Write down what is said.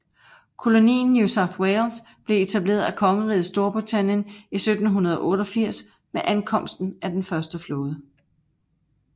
Kolonien New South Wales blev etableret af Kongeriget Storbritannien i 1788 med ankomsten af den første flåde